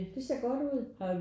Det ser godt ud